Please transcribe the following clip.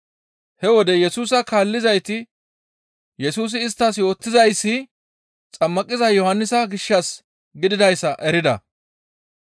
He wode Yesusa kaallizayti Yesusi isttas yootizayssi Xammaqiza Yohannisa gishshas gididayssa erida.